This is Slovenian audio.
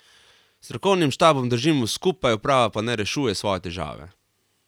S strokovnim štabom držimo skupaj, uprava pa naj rešuje svoje težave.